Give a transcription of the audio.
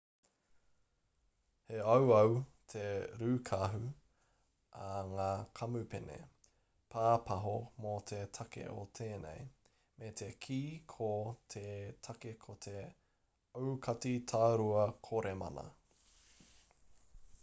he auau te rūkahu a ngā kamupene pāpaho mō te take o tēnei me te kī ko te take ko te aukati tārua koremana